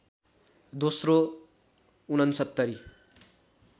दोस्रो ६९